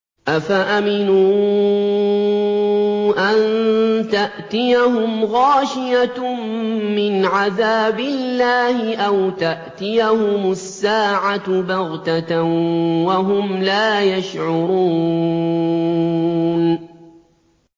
أَفَأَمِنُوا أَن تَأْتِيَهُمْ غَاشِيَةٌ مِّنْ عَذَابِ اللَّهِ أَوْ تَأْتِيَهُمُ السَّاعَةُ بَغْتَةً وَهُمْ لَا يَشْعُرُونَ